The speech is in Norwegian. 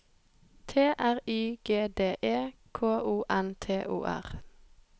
T R Y G D E K O N T O R